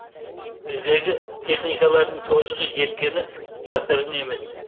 біздегі техникалардың тозығы жеткені жасырын емес